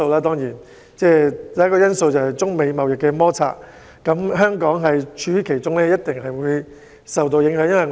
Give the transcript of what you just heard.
第一個因素是中美貿易摩擦，香港位處其中，一定會受到影響。